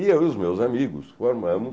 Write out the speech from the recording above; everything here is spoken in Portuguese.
E eu e os meus amigos formamos.